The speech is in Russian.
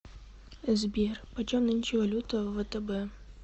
сбер почем нынче валюта в втб